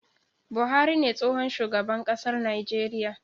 Buhari ne tsohon shugaban ƙasar Nijeriya